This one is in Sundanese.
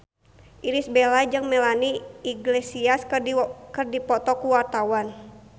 Irish Bella jeung Melanie Iglesias keur dipoto ku wartawan